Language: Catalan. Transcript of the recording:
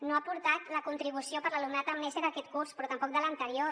no ha portat la contribució per a l’alumnat amb nese d’aquest curs però tampoc de l’anterior